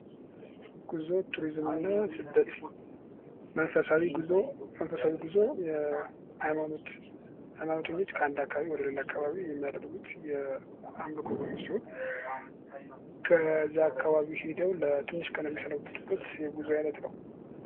ጉዞ ቱሪዝምና ስደት መንፈሳዊ ጉዞ መንፈሳዊ ጉዞ ሃይማኖተኞች ከአንድ አካባቢ ወደ ሌላ አካባቢ የሚያደርጉት የአምልኮ ጉዞ ሲሆን ከዛ አካባቢ ሄደው ትንሽ ቀን የሚሰነብቱበት የጉዞ ዓይነትነው